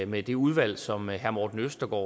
med det udvalg som herre morten østergaard